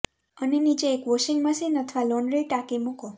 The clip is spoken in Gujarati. અને નીચે એક વોશિંગ મશીન અથવા લોન્ડ્રી ટાંકી મૂકો